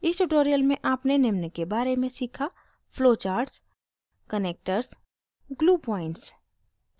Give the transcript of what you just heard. इस tutorial में आपने निम्न के बारे में सीखा: